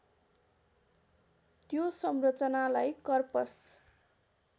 त्यो संरचनालाई कर्पस